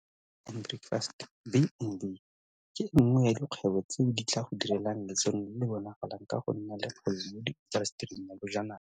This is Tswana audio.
Bed and breakfast, B and B ke e nngwe ya dikgwebo tseo di tla go direlang letseno le le bonagalang ka go nna le kgwebo mo intasetering ya bojanala.